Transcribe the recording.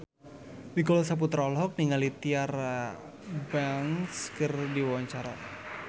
Nicholas Saputra olohok ningali Tyra Banks keur diwawancara